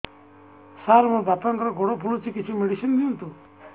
ସାର ମୋର ବାପାଙ୍କର ଗୋଡ ଫୁଲୁଛି କିଛି ମେଡିସିନ ଦିଅନ୍ତୁ